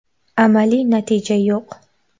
Amaliy natija yo‘q”.